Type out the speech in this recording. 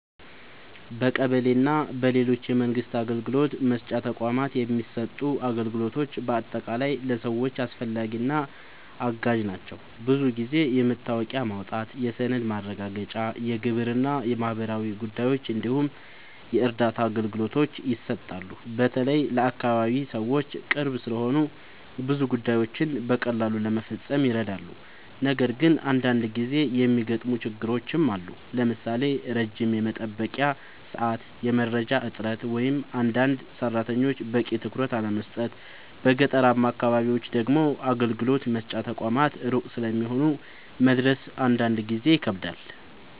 በቀበሌ እና በሌሎች የመንግስት አገልግሎት መስጫ ተቋማት የሚሰጡ አገልግሎቶች በአጠቃላይ ለሰዎች አስፈላጊ እና አጋዥ ናቸው። ብዙ ጊዜ የመታወቂያ ማውጣት፣ የሰነድ ማረጋገጫ፣ የግብር እና ማህበራዊ ጉዳዮች እንዲሁም የእርዳታ አገልግሎቶች ይሰጣሉ። በተለይ ለአካባቢ ሰዎች ቅርብ ስለሆኑ ብዙ ጉዳዮችን በቀላሉ ለመፈጸም ይረዳሉ። ነገር ግን አንዳንድ ጊዜ የሚገጥሙ ችግሮችም አሉ፣ ለምሳሌ ረጅም የመጠበቂያ ሰዓት፣ የመረጃ እጥረት ወይም አንዳንድ ሰራተኞች በቂ ትኩረት አለመስጠት። በገጠራማ አካባቢዎች ደግሞ አገልግሎት መስጫ ተቋማት ሩቅ ስለሚሆኑ መድረስ አንዳንድ ጊዜ ይከብዳል።